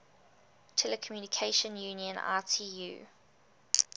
telecommunication union itu